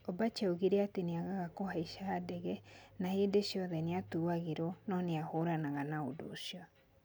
Ombachi oigire atĩ nĩ aagaga kũhaica ndege na hĩndĩ ciothe nĩ atuagĩrwo, no nĩ ahũũranaga na ũndũ ũcio